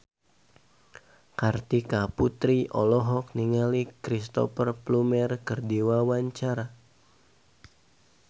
Kartika Putri olohok ningali Cristhoper Plumer keur diwawancara